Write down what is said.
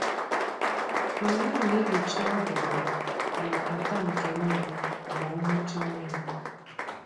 Anyị na-ehicha ọdụdụ na apata nke nne ma ọ mụchaa nwa